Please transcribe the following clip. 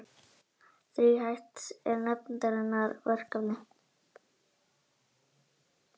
Verkefni nefndarinnar er þríþætt